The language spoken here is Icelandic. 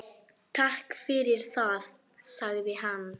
Takk fyrir það- sagði hann.